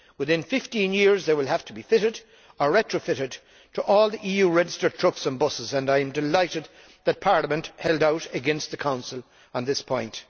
Within 15 years, they will have to be fitted or retrofitted to all EU registered trucks and buses, and I am delighted that Parliament held out against the Council on this point.